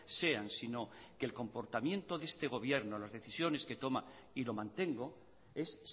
sean sino que el comportamiento de este gobierno las decisiones que toma y lo mantengo es